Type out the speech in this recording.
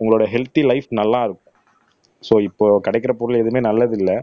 உங்களோட healthy life நல்லா இருக்கும் சோ இப்போ கிடைக்கிற பொருள் எதுவுமே நல்லது இல்ல